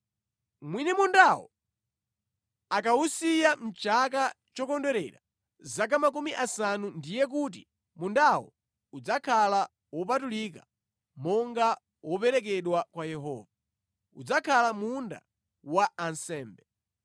Mwini mundawo akawusiya mʼchaka chokondwerera zaka makumi asanu ndiye kuti mundawo udzakhala wopatulika monga woperekedwa kwa Yehova: udzakhala munda wa ansembe.